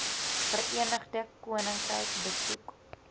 verenigde koninkryk besoek